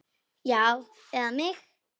Já, eða mig?